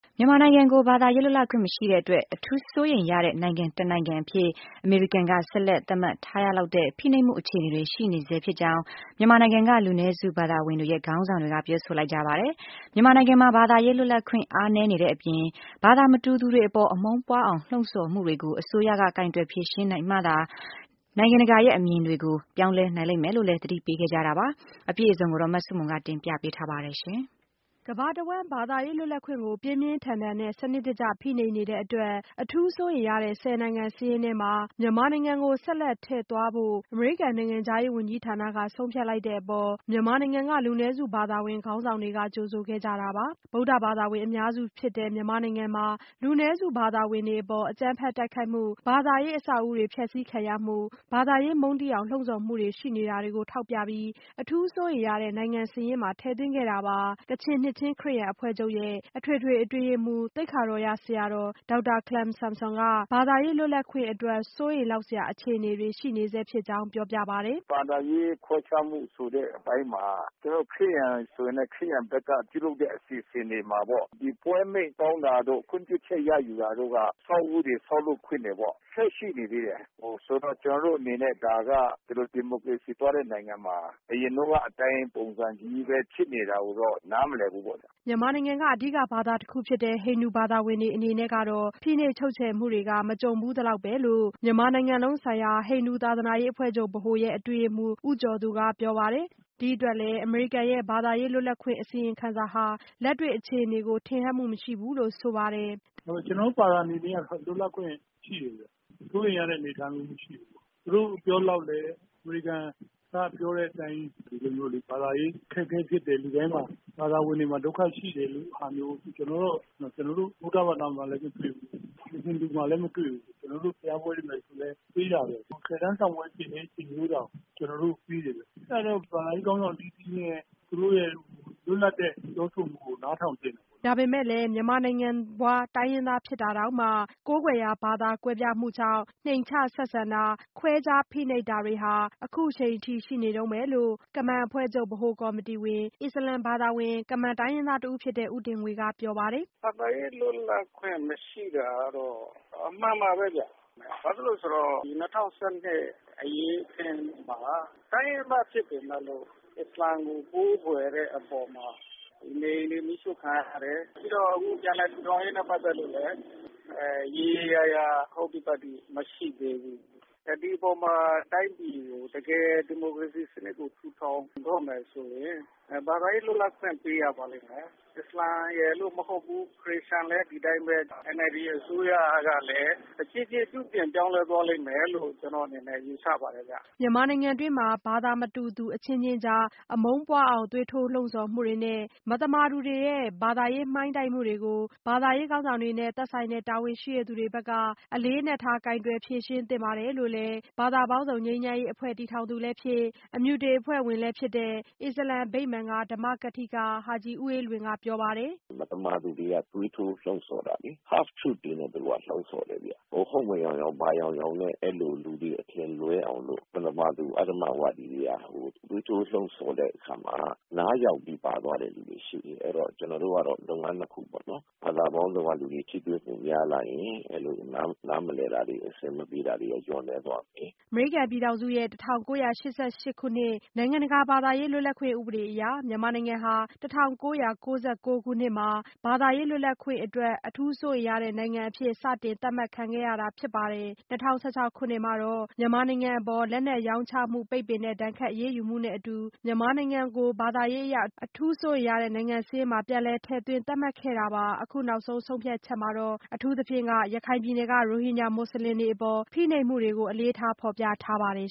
မြန်မာနိုင်ငံကို ဘာသာရေး လွတ်လပ်ခွင့်မရှိတဲ့အတွက် အထူးစိုးရိမ်ရတဲ့ နိုင်ငံတနိုင်ငံအဖြစ် အမေရိကန်က ဆက်လက် သတ်မှတ်ထားရလောက်တဲ့ ဖိနှိပ်မှုအခြေအနေတွေ ရှိနေဆဲဖြစ်ကြောင်း မြန်မာနိုင်ငံက လူနည်းစု ဘာသာဝင်တွေရဲ့ ခေါင်းဆောင်တွေက ပြောဆိုလိုက်ကြပါတယ်။ မြန်မာနိုင်ငံမှာ ဘာသာရေး လွတ်လပ်ခွင့် အားနည်းနေတဲ့အပြင်၊ ဘာသာမတူသူတွေအပေါ် အမုန်းပွားအောင် လှုံ့ဆော်မှုတွေကို အစိုးရက ကိုင်တွယ်ဖြေရှင်းနိုင်မှသာ နိုင်ငံတကာရဲ့ အမြင်တွေကို ပြောင်းလဲနိုင်လိမ့်မယ်လို့လည်း သတိပေးခဲ့ကြတာပါ။ အပြည့်အစုံကိုတော့ မဆုမွန် တင်ပြပေးထားပါတယ်။ ကမ္ဘာတဝန်း ဘာသာရေးလွတ်လပ်ခွင့်ကို ပြင်းပြင်းထန်ထန်နဲ့ စနစ်တကျ ဖိနှိပ်နေတဲ့အတွက် အထူူးစိုးရိမ်ရတဲ့ ဆယ်နိုင်ငံ စာရင်းထဲမှာ မြန်မာနိုင်ငံကို ဆက်လက် ထည့်သွားထားဖို့ အမေရိကန်နိုင်ငံခြားရေး ဝန်ကြီးဌာနက ဆုံးဖြတ်လိုက်တဲ့အပေါ် မြန်မာနိုင်ငံက လူနည်းစုဘာသာဝင် ခေါင်းဆောင်တွေက ကြိုဆိုခဲ့ကြတာပါ။ ဗုဒ္ဓဘာသာဝင် အများစုဖြစ်တဲ့ မြန်မာနိုင်ငံမှာ လူနည်းစု ဘာသာဝင်တွေအပေါ် အကြမ်းဖက် တိုက်ခိုက်မှု၊ ဘာသာရေး အဆောက်အဦးတွေ ဖျက်စီးခံရမှု၊ ဘာသာရေး မုန်းတီးအောင် လှုံဆော်မှုတွေ ရှိနေတာတွေကို ထောက်ပြပြီး အထူးစိုးရိမ်ရတဲ့ နိုင်ငံစာရင်းမှာ ထည့်သွင်းခဲ့တာပါ။ ကချင်နှစ်ခြင်းခရစ်ယာန်အဖွဲ့ချုပ်ရဲ့ အထွေထွေအတွင်းရေးမှူး သိက္ခာတော်ရဆရာတော် ဒေါက်တာခလမ်ဆန်ဆွမ်ကတော့ ဘာသာရေး လွတ်လပ်ခွင့်အတွက် စိုးရိမ်လောက်စရာ အခြေအနေတွေ ရှိနေဆဲဖြစ်ကြောင်း ပြောပါတယ်။ “ဘာသာရေး ခွဲခြားမှု ဆိုတဲ့အပိုင်းမှာ ကျနော်တို့ ခရစ်ယာန်ဆိုရင်လည်း ခရစ်ယာန်ဘက်က ပြုလုပ်တဲ့ အစီအစဉ်တွေမှာပေါ့ ပွဲအမိန့်တောင်းတာတို့ ခွင့်ပြုချက်ရယူတာတို့က အဆောက်အဦးတွေ ဆောက်လုပ်ခွင့်တွေပေါ့ဆက်ပြီးရှိနေသေးတယ်။ ဆိုတော့ ကျနော်တို့အနေနဲ့ ဒါက ဒီလို ဒီမိုကရေစီသွားတဲ့ နိုင်ငံမှာ အရင်တုန်းကအတိုင်း ပုံစံပဲ ဖြစ်နေတာဆိုတော့ နားမလည်ဘူး။” မြန်မာနိုင်ငံက အဓိကဘာသာတခုဖြစ်တဲ့ ဟိန္ဒူဘာသာဝင်တွေ အနေနဲ့တော့ ဖိနှိပ်ချုပ်ခြယ်မှုတွေ မကြုံဖူးသလောက်ပဲလို့ မြန်မာနိုင်ငံလုံးဆိုင်ရာ ဟိန္ဒူသာသနာရေးအဖွဲ့ချုပ်ဗဟိုရဲ့ အတွင်းရေးမှူး ဦးကျော်သူက ပြောပါတယ်။ ဒီအတွက်လည်း အမေရိကန်ရဲ့ ဘာသာရေး လွတ်လပ်ခွင့် အစီရင်ခံစာဟာ လက်တွေ့ အခြေအနေကို ထင်ဟပ်မှု မရှိဘူးလို့ ဆိုပါတယ်။ “ကျနော်တို့ ဘာသာဝင်တွေအနေနဲ့က လွတ်လပ်မှုတွေ ရှိနေတယ်။ စိုးရိမ်ရတဲ့အနေအထားမျိုးမရှိဘူး သူတို့ပြောသလောက်လည်း အမေရိကန်ကပြောတဲ့အတိုင်း ဘာသာရေး အခက်အခဲဖြစ်တယ်၊ လူတိုင်းမှာ ဘာသာဝင်တွေမှာ ဒုက္ခရှိတယ်ဆိုတာမျိုး ကျနော်တို့ ဗုဒ္ဓဘာသာမှာလည်း မတွေ့ဘူး ဟိန္ဒူဘာသာမှာလည်း မတွေ့ဘူး။ ဘုရားပွဲတွေမှာလည်းပေးတာပဲ ဆယ်တန်းစာမေးပွဲဖြေနေတဲ့ အချိန်မျိုးတောင်ကျနော်တို့ကိုပေးတယ်။ အဲဒါကြောင့် ဘာသာရေးခေါင်းဆောင်တွေရဲ့ သူတို့ရဲ့ လွတ်လပ်တဲ့ ပြောဆိုမှုကို နားထောင်သင့်တယ်။” ဒါပေမဲ့လည်း၊ မြန်မာနိုင်ငံဖွား တိုင်းရင်းသား ဖြစ်တာတောင်မှ ကိုးကွယ်ရာဘာသာ ကွဲပြားမှုကြောင့် နှိမ်ချဆက်ဆံတာ ခွဲခြားဖိနှိပ်တာတွေဟာ အခုချိန်အထိ ရှိနေတုန်းပဲလို့ ကမန်အဖွဲ့ချုပ် ဗဟိုကော်မတီဝင် အစ္စလာမ်ဘာသာဝင် ကမန်တိုင်းရင်းသားတဦးဖြစ်တဲ့ ဦးတင်ငွေက ပြောပါတယ်။ " ဘာသာရေးလွတ်လပ်ခွင့်မရှိတာကတော့ အမှန်ပါပဲဗျ။ ဘာဖြစ်လို့လဲဆိုတော့ ၂၀၁၂ အရေးအခင်းမှာ တိုင်းရင်းသားဖြစ်ပေမဲ့လို့ အစ္စလာမ်ကို ကိုးကွယ်တဲ့အပေါ်မှာ နေအိမ်တွေ မီးရှို့ခံရတယ် ပြီးတော့ အခု ပြန်လည်ထူထောင်ရေးတွေနဲ့ပတ်သက်လို့လည်း ရေရေရာရာ ဟုတ်တိပတ်တိ မရှိသေးဘူး။ ဒီအပေါ်မှာ တိုင်းပြည်ကို ဒီမိုကရေစီနစ်ကို တကယ့်ကို ထူထောင်တော့မယ်ဆိုရင် ဘာသာရေးလွတ်လပ်ခွင့်ပေးရပါလိမ့်မယ်။ အစ္စလာမ်ရယ်လို့မဟုတ်ဘူး ခရစ်ယာန်လည်း ဒီအတိုင်းပဲ။ NLD အစိုးရလည်း တဖြေးဖြေး ပြုပြင်ပြောင်းလဲသွားလိမ့်မယ်လို့ ကျနော့်အနေနဲ့ ယူဆပါတယ်ခင်ဗျ။" မြန်မာနိုင်ငံတွင်းမှာ ဘာသာမတူသူအချင်းချင်းကြား အမုန်းပွားအောင် သွေးထိုးလှုံ့ဆော်မှုတွေနဲ့ မသမာသူတွေရဲ့ ဘာသာရေးမှိုင်းတိုက်မှုတွေကို ဘာသာရေးခေါင်းဆောင်တွေနဲ့ သက်ဆိုင်တဲ့တာဝန်ရှိသူတွေဘက်က အလေးအနက်ထား ကိုင်တွယ်ဖြေရှင်းသင့်တယ်လို့လည်း ဘာသာပေါင်းစုံငြိမ်းချမ်းရေးအဖွဲ့ ( Religions for Peace ) တည်ထောင်သူလည်းဖြစ် အမြုတေအဖွဲ့ဝင် အစ္စလာမ်ဗိမာန် (Chief Convener, The Islamic Centre of Myanmar) က ဓမ္မကထိက ဟာ့ဂျ်ဦးအေးလွင်က ပြောပါတယ်။ " မသမာသူတွေက သွေးထိုးလှုံ့ဆော်တာလေ Half -True တွေနဲ့ လှုံ့ဆော်တယ်ခင်ဗျ ဟုတ်မယောင်ယောင် ဘာယောင်ယောင်နဲ့ အဲ့ဒီ့လိုလူတွေက အထင်လွဲအောင်လို့ မသမာသူ အဓမ္မဝါဒီတွေက သွေးထိုးလှုံ့ဆော်တဲ့အခါမှာ နားယောင်ပြီး ပါသွားတဲ့သူတွေရှိတယ် အဲ့တော့ ကျနော်တို့ကတော့ လုပ်ငန်း ၂ခုပေါ့နော် ဘာသာပေါင်းစုံကသူတွေ ထိတွေ့မှုပိုများလာရင် နားမလည်တာတွေ အဆင်မပြေတာတွေက လျော့နည်းသွားမယ်။" အမေရိကန် ပြည်ထောင်စုရဲ့ ၁၉၉၈ ခုနှစ် နိုင်ငံတကာ ဘာသာရေး လွတ်လပ်ခွင့် ဥပဒေအရ မြန်မာနိုင်ငံဟာ ၁၉၉၉ ခုနှစ်မှာ ဘာသာရေး လွတ်လပ်ခွင့်အတွက် အထူးစိုးရိမ်ရတဲ့ နိုင်ငံအဖြစ် စတင်သတ်မှတ်ခံခဲ့ရတာ ဖြစ်ပါတယ်။ ၂၀၁၆ ခုနှစ်မှာတော့ မြန်မာနိုင်ငံအပေါ် လက်နက်ရောင်းချမှုပိတ်ပင်တဲ့ ဒဏ်ခတ်အရေးယူမှုနဲ့အတူ မြန်မာနိုင်ငံကို ဘာသာရေး အရ အထူးစိုးရိမ်ရတဲ့ နိုင်ငံစာရင်းမှာ ပြန်လည် ထည့်သွင်းသတ်မှတ်ခဲ့တာပါ။ အခုနောက်ဆုံး ဆုံးဖြတ်ချက်မှာတော့ အထူးသဖြင့် ရခိုင်ပြည်နယ်က ရိုဟင်ဂျာမွတ်စလင်တွေအပေါ် ဖိနှိပ်မှုတွေကို အလေးထား ဖော်ပြထားပါတယ်